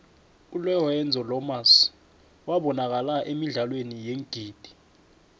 ulerenzo lomas ybanakala emidlalweni yeengidi